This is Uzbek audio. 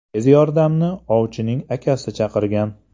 Tez yordamni ovchining akasi chaqirgan.